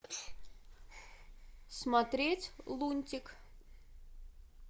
смотреть лунтик